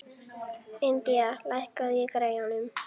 Indía, lækkaðu í græjunum.